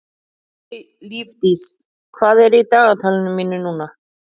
Lífdís, hvað er í dagatalinu mínu í dag?